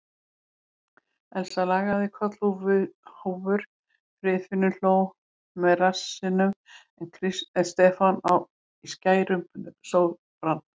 Elsa lagði kollhúfur, Friðfinnur hló með rassinum en Stefán í skærum sópran.